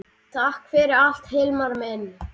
Takk fyrir allt Hilmar minn.